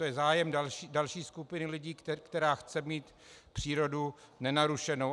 To je zájem další skupiny lidí, která chce mít přírodu nenarušenou.